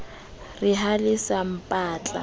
re ha le sa mpatla